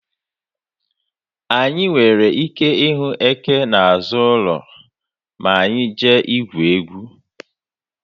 Anyị nwere ike ịhụ eke n'azụ ụlọ ma anyị jee igwu egwu.